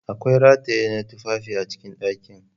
Akwai rataye na tufafi a cikin dakin.